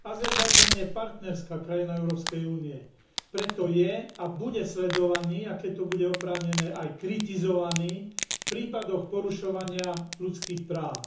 Azerbajdžan je partnerská krajina Európskej únie, preto je a bude sledovaný a keď to bude oprávnené aj kritizovaný v prípadoch porušovania ľudských práv.